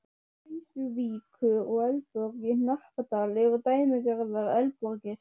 Krýsuvíkur, og Eldborg í Hnappadal eru dæmigerðar eldborgir.